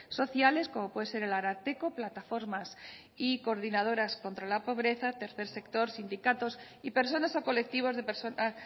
sociales como puede ser el ararteko plataformas y coordinadoras contra la pobreza tercer sector sindicatos y personas o colectivos de personas